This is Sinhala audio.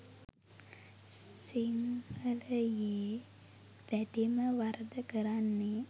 සිංහලයේ වැඩිම වරද කරන්නේ